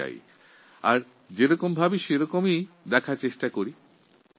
আমাদের চিন্তাভাবনা অনুযায়ী তাঁদের সমস্যাগুলির প্রতি আমরা আমাদের দৃষ্টিভঙ্গি ব্যক্ত করি